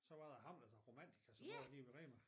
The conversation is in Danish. Så var der Hamlet og Romantika som lå lige ved Rema